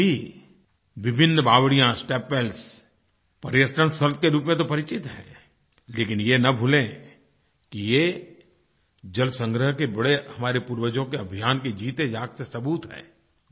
आज भी विभिन्न बावड़ियाँ स्टेपवेल्स पर्यटन स्थल के रूप में तो परिचित हैं लेकिन ये न भूलें कि ये जलसंग्रह के बड़े हमारे पूर्वजों के अभियान के जीतेजागते सबूत हैं